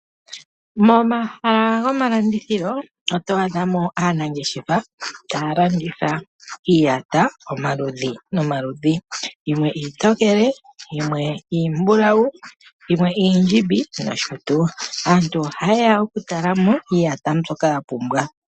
Momahala gomalandithilo otwaadha mo aanangeshefa taya landitha iitaya omaludhi nomaludhi yimwe iitokele, yimwe iimbulawu yimwe iindjimbi nosho tuu. Aantu oha yeya oku talamo iiyata mbyoka yapumbwa.